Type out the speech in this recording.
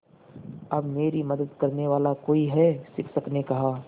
अब मेरी मदद करने वाला कोई है शिक्षक ने कहा